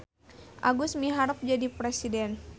Agus miharep jadi presiden